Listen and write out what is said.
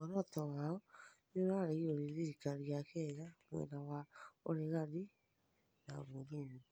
mũoroto wao nĩũraregĩrwo nĩ thĩrĩkarĩ ya Kenya, mwena wa ũreganĩ na mũthũngũ